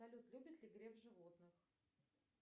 салют любит ли греф животных